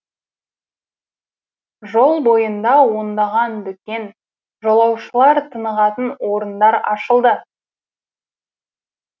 жол бойында ондаған дүкен жолаушылар тынығатын орындар ашылды